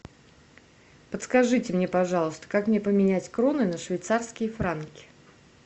подскажите мне пожалуйста как мне поменять кроны на швейцарские франки